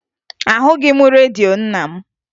Ahụghị m redio nna m